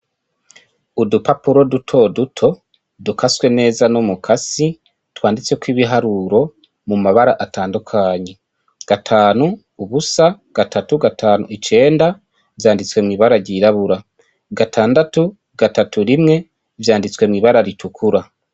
Udupapuro duto duto dukaswe neza n'umukasi twanditseko ibiharuro mu mabara atandukanye : gatanu, ubusa, gatatu, gatanu, icenda, vyanditse mw'ibara ryirabura. Gatandatu, gatatu, rimwe vyanditswe mw'ibara ritukura.